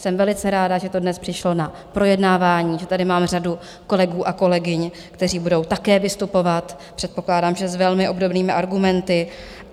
Jsem velice ráda, že to dnes přišlo na projednávání, že tady mám řadu kolegů a kolegyň, kteří budou také vystupovat, předpokládám, že s velmi obdobnými argumenty.